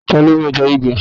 Ta ló mú ẹja gbígbẹ?